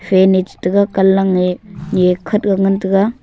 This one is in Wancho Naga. va nach tega kanlak e ni khat ngan taiga.